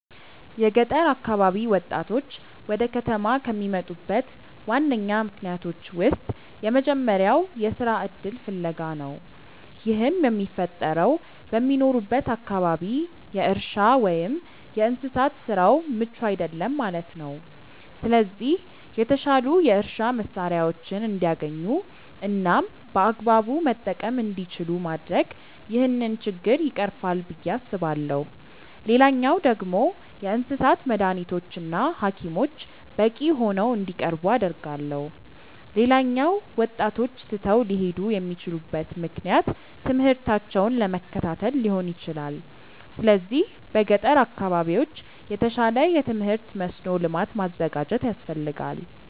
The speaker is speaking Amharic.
የገጠር አካባቢ ወጣቶች ወደ ከተማ ከሚመጡበት ዋነኛ ምክንያቶች ውስጥ የመጀመሪያው የስራ እድል ፍለጋ ነው። ይህም የሚፈጠረው በሚኖሩበት አካባቢ የእርሻ ወይም የእንስሳት ስራው ምቹ አይደለም ማለት ነው። ስለዚህ የተሻሉ የእርሻ መሳሪያዎችን እንዲያገኙ እናም በአግባቡ መጠቀም እንዲችሉ ማድረግ ይህንን ችግር ይቀርፋል ብዬ አስባለሁ። ሌላኛው ደግሞ የእንስሳት መዳኒቶች እና ሀኪሞች በቂ ሆነው እንዲቀርቡ አደርጋለሁ። ሌላኛው ወጣቶች ትተው ሊሄዱ የሚችሉበት ምክንያት ትምህርታቸውን ለመከታተል ሊሆን ይችላል። ስለዚህ በገጠር አካባቢዎች የተሻለ የትምህርት መስኖ ልማት ማዘጋጀት ያስፈልጋል።